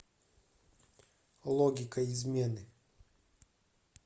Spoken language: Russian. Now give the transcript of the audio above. логика измены